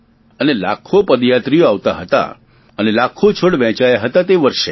અને લાખો પદયાત્રીઓ આવતા હતા અને લાખો છોડ વહેંચાયા હતા તે વર્ષે